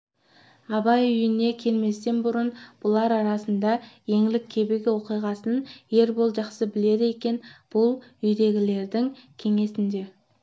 абай үйіне келместен бұрын бұлар арасында еңлік кебек оқиғасың ербол жақсы біледі екен бұл үйдегілердің кеңесінде